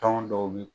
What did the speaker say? Tɔn dɔw bi